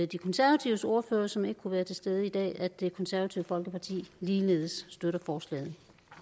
de konservatives ordfører som ikke kunne være til stede i dag at det konservative folkeparti ligeledes støtter forslaget